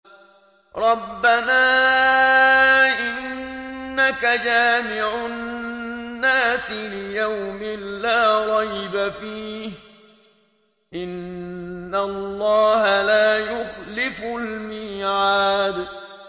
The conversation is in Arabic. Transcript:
رَبَّنَا إِنَّكَ جَامِعُ النَّاسِ لِيَوْمٍ لَّا رَيْبَ فِيهِ ۚ إِنَّ اللَّهَ لَا يُخْلِفُ الْمِيعَادَ